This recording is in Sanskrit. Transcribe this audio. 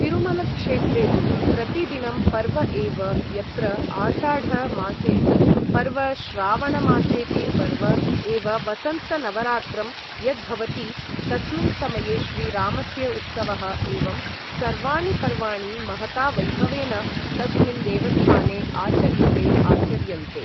तिरुमलक्षेत्रे तु प्रतिदिनं पर्व एव यत्र आषाढ मासेपि पर्व श्रावण मासेपि पर्व एव वसन्तनवरात्रं यद्भवति तस्मिन् समये श्रीरामस्य उत्सवः एवं सर्वाणि पर्वाणि महता वैभवेन तस्मिन् देवस्थाने आचर्यते आचर्यन्ते